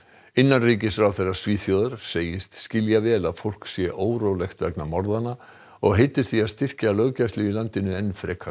innanríkisráðherra Svíþjóðar segist skilja vel að fólk sé órólegt vegna og heitir því að styrkja löggæslu í landinu enn frekar